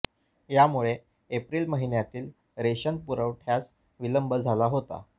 यामुळे एप्रिल महिन्यातील रेशन पुरवठय़ास विलंब झाला होता